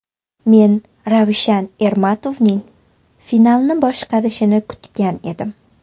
Men Ravshan Ermatovning finalni boshqarishini kutgan edim.